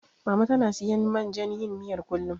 Mama tana siyan man jan yin miyar, kullum.